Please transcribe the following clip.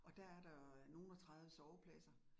Og der er der nogen og 30 sovepladser